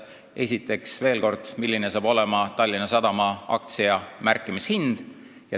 Esiteks, veel kord, sellest, milline hakkab olema Tallinna Sadama aktsia märkimishind.